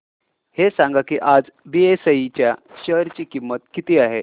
हे सांगा की आज बीएसई च्या शेअर ची किंमत किती आहे